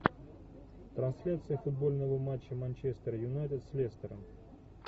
трансляция футбольного матча манчестер юнайтед с лестером